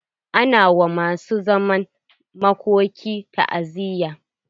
Ana wa masu zaman makoki ta"aziyya.